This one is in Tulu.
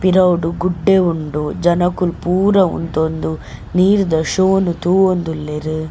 ಪಿರವುಡು ಗುಡ್ಡೆ ಉಂಡು ಜನೊಕೊಲ್ ಪೂರ ಉಂತೊಂದು ನೀರ್ದ ಶೋ ನು ತೂವೊಂದುಲ್ಲೆರ್.